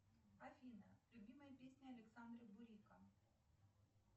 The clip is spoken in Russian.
афина любимая песня александра бурика